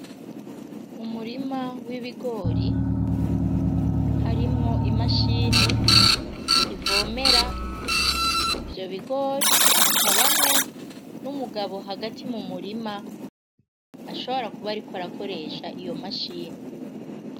Umurima w'ibigori harimwo imashini ivomera ivyo bigori hakabamwo n'umugabo hagati mu murima ashobora kuba ari ko arakoresha iyo mashini.